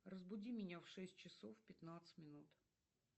разбуди меня в шесть часов пятнадцать минут